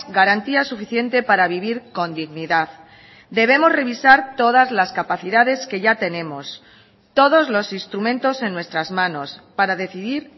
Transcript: garantía suficiente para vivir con dignidad debemos revisar todas las capacidades que ya tenemos todos los instrumentos en nuestras manos para decidir